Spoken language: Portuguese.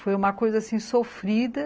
Foi uma coisa assim, sofrida.